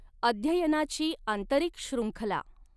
अध्ययनाची आंतरिक शृङ्खला.